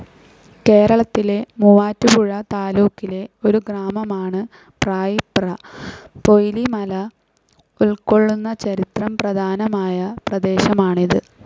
കേരളത്തിലെ മുവാറ്റുപുഴ താലൂക്കിലെ ഒരു ഗ്രാമമാണ് പ്രായിപ്ര. പൊയ്ലി മല ഉൾകൊള്ളുന്ന ചരിത്ര പ്രധാനമായ പ്രദേശമാണിത്.